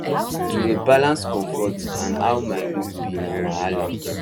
to dey balance comfort and how my look be na wahala